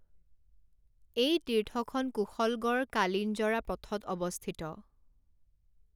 এই তীৰ্থখন কুশলগড় কালিঞ্জৰা পথত অৱস্থিত৷